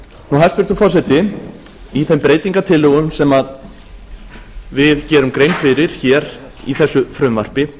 hæstvirtur forseti í þeim breytingartillögum sem við gerum grein fyrir hér í þessu frumvarpi